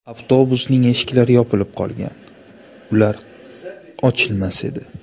Avtobusning eshiklari yopilib qolgan, ular ochilmas edi.